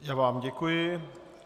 Já vám děkuji.